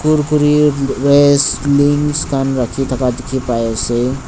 kurkure rays lings kan raki daka diki pai ase.